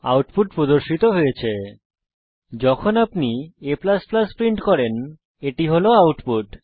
output পর্দায় প্রদর্শিত হয়েছে যখন আপনি a প্রিন্ট করেন এটি হল আউটপুট